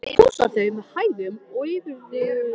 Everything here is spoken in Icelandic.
Pússar þau með hægum og yfirveguðum hreyfingum.